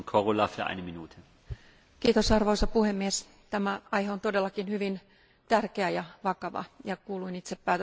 Arvoisa puhemies, tämä aihe on todellakin hyvin tärkeä ja vakava ja kuulun itse päätöslauselman allekirjoittajiin.